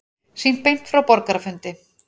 Sýnt beint frá borgarafundi